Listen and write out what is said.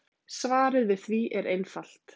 Svarið við því er einfalt.